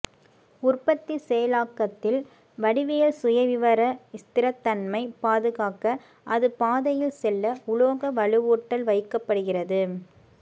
உற்பத்தி செயலாக்கத்தில் வடிவியல் சுயவிவர ஸ்திரத்தன்மை பாதுகாக்க அது பாதையில் செல்ல உலோக வலுவூட்டல் வைக்கப்படுகிறது